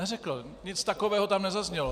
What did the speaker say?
Neřekl, nic takového tam nezaznělo.